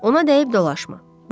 Ona deyib dolaşma.